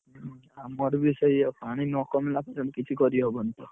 ଆମର ବି ସେଇଆ ପାଣି ନ କମିଲା ପର୍ଯ୍ୟନ୍ତ କିଛି କରି ହବନି ତ।